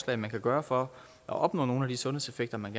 hvad man kan gøre for at opnå nogle af de sundhedseffekter man